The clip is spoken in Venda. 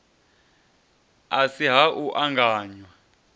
a si ha u anganya